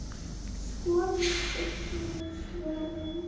Skoðið einnig svörin